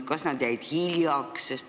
Kas nad jäid hiljaks?